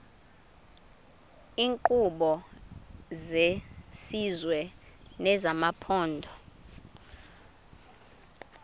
iinkqubo zesizwe nezamaphondo